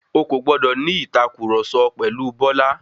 O kò gbọdọ̀ ní ìtàkurọ̀sọ pẹ̀lu Bọ́lá.